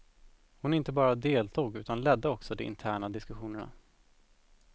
Hon inte bara deltog utan ledde också de interna diskussionerna.